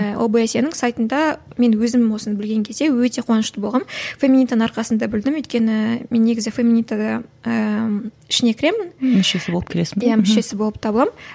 ііі обсе нің сайтында мен өзім осыны білген кезде өте қуанышты болғанмын феминитаның арқасында білдім өйткені мен негізі феминитада ііі ішіне кіремін мүшесі болып кіресің бе мүшесі болып табыламын